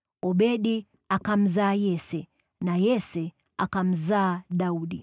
Obedi akamzaa Yese, na Yese akamzaa Daudi.